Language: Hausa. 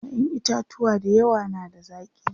ƴaƴan itatuwa da yawa na da zaki